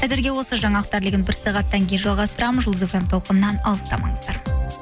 әзірге осы жаңалықтар легін бір сағаттан кейін жалғастырамын жұлдыз эф эм толқынынан алыстамаңыздар